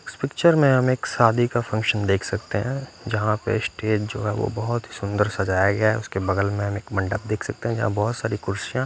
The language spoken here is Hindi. इस पिक्चर में हम एक सादी का फंक्शन देख सकते हैं जहाँ पे स्टेज जो है वो बहोत ही सुंदर सजाया गया है उसके बगल में हम एक मंडप देख सकते हैं जहाँ पर बहोत सारी कुर्सियाँ --